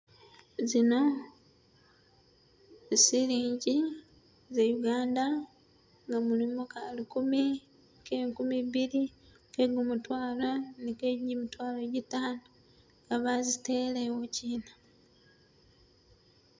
zino silinji ze Uganda nga mulimo kalukumi, ke enkumibiri, ke gumutwalo ni ke jimitwalo jitano nga bazitele ewo gyina